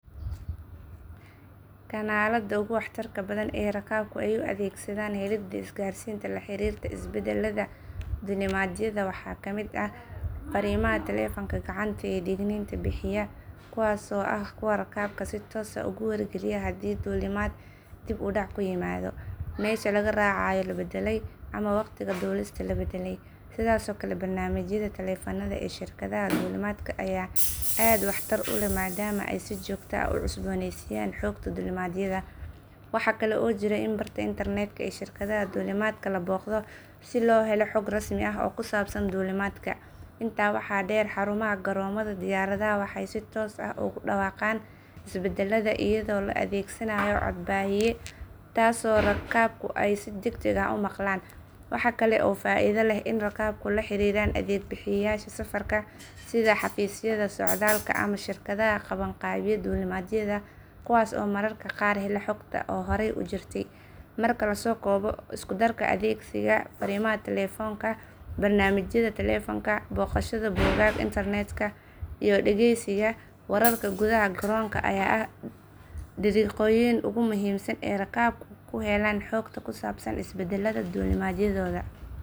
Kanaalada ugu waxtarka badan ee rakaabku ay u adeegsadaan helidda isgaarsiinta la xiriirta isbeddellada duulimaadyada waxaa ka mid ah fariimaha telefoonka gacanta ee digniinta bixiya, kuwaas oo ah kuwa rakaabka si toos ah ugu wargeliya haddii duulimaad dib u dhac ku yimid, meesha laga raacayo la beddelay, ama wakhtiga duulista la beddelay. Sidoo kale, barnaamijyada taleefanada ee shirkadaha duulimaadka ayaa aad waxtar u leh, maadaama ay si joogto ah u cusbooneysiiyaan xogta duulimaadyada. Waxa kale oo jira in barta internetka ee shirkadda duulimaadka la booqdo si loo helo xog rasmi ah oo ku saabsan duulimaadka. Intaa waxaa dheer, xarumaha garoomada diyaaradaha waxay si toos ah ugu dhawaaqaan isbeddellada iyadoo loo adeegsanayo cod baahiye taas oo rakaabku ay si degdeg ah u maqlaan. Waxa kale oo faa’iido leh in rakaabku la xiriiraan adeeg bixiyeyaasha safarka sida xafiisyada socdaalka ama shirkadaha qabanqaabiya duulimaadyada kuwaas oo mararka qaar hela xogta horay u jirta. Marka la soo koobo, isku darka adeegsiga fariimaha telefoonka, barnaamijyada taleefanka, booqashada bogagga internetka, iyo dhageysiga wararka gudaha garoonka ayaa ah dariiqooyinka ugu muhiimsan ee rakaabku ku helaan xogta ku saabsan isbeddellada duulimaadyadooda.